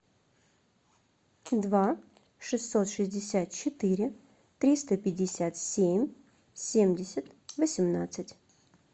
два шестьсот шестьдесят четыре триста пятьдесят семь семьдесят восемнадцать